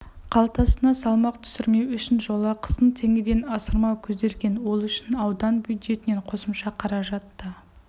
қалтасына салмақ түсірмеу үшін жолақысын теңгеден асырмау көзделген ол үшін аудан бюджетінен қосымша қаражат та